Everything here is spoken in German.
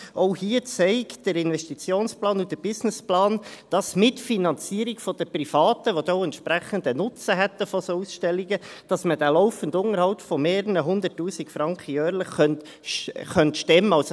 Auch hier zeigen der Investitionsplan und der Businessplan, dass man mit der Finanzierung der Privaten, die dann auch einen entsprechenden Nutzen von solchen Ausstellungen hätten, diesen laufenden Unterhalt von mehreren 100’000 Franken jährlich stemmen könnte.